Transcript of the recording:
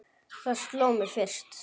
Það sló mig fyrst.